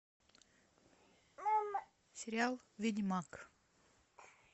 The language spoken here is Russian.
сериал ведьмак